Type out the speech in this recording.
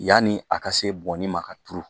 Yani a ka se bɔnni ma ka turu.